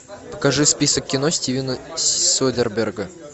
покажи список кино стивена содерберга